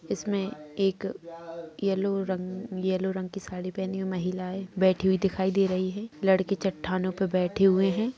इसमें एक येलो रंग येलो रंग की साड़ी पहनी हुई महिलायें बैठी हुई दिखाई दे रही हैं। लड़के चट्टानों पे बैठे हुयें हैं।